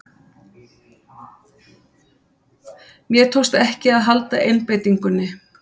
Mér tókst ekki að halda einbeitingunni.